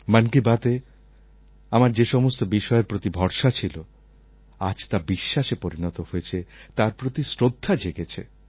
মন কি বাতএ আমার যে সমস্ত বিষয়ের প্রতি ভরসা ছিল আজ তা বিশ্বাসে পরিণত হয়েছে তার প্রতি শ্রদ্ধা জেগেছে